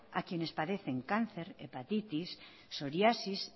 a quienes padecen cáncer hepatitis soriasis